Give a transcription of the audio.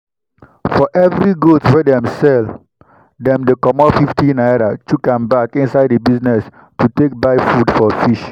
for every goat wey dem sell dem dey comot 50 naira chook am back inside the business to take buy food for fish.